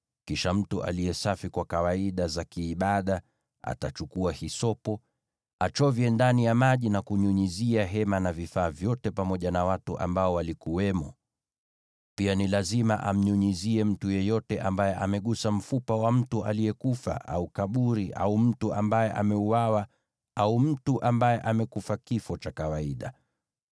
Kisha mtu aliye safi kwa kawaida za kiibada atachukua hisopo, achovye ndani ya maji, na kunyunyizia hema na vifaa vyote pamoja na watu ambao walikuwamo. Pia ni lazima amnyunyizie mtu yeyote ambaye amegusa mfupa wa mtu aliyekufa, au kaburi, au mtu ambaye ameuawa, au mtu ambaye amekufa kifo cha kawaida.